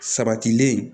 Sabatilen